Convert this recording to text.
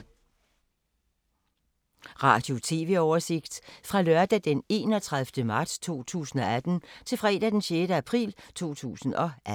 Radio/TV oversigt fra lørdag d. 31. marts 2018 til fredag d. 6. april 2018